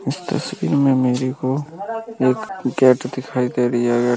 इस तस्वीर में मेरे को एक गेट दिखाई दे रहा हैं।